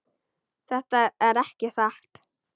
Þetta er ekki satt!